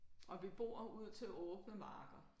Og vi bor ud til åbne marker